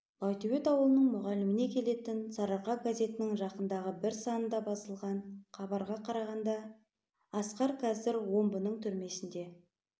байтөбет ауылының мұғаліміне келетін сарыарқа газетінің жақындағы бір санында басылған хабарға қарағанда асқар қазір омбының түрмесінде